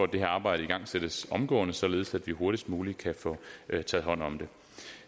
det her arbejde igangsættes omgående således at vi hurtigst muligt kan få taget hånd om det